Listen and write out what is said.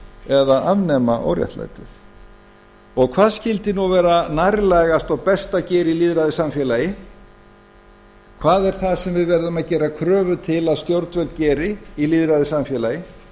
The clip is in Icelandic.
eða að afnema óréttlætið og hvað skyldi nú vera nærtækast og best að gera í lýðræðissamfélagi hvað er það sem við verðum að gera kröfur til að stjórnvöld geri í lýðræðissamfélagi